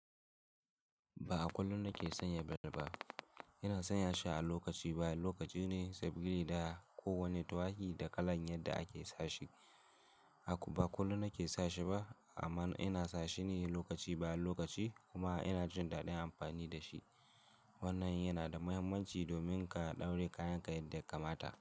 Ba a kullum na ke sanya bel ba. Ina sanya shi a lokaci baya lokaci ne saboda gina kowane tuaki da kalan yadda ake sa shi. Ba kullum na ke sa shi ba amma ina sa shi ne lokaci baya lokaci kuma ina jin daɗin amfani da shi. Wannan yana da mahimmanci domin ka ɗauri kayanka yadda ka mata.